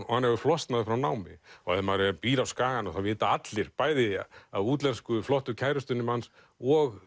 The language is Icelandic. og hann hefur flosnað upp frá námi þegar maður býr á Skaganum þá vita allir bæði af útlensku flottu kærustunni manns og